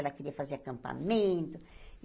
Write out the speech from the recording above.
Ela queria fazer acampamento.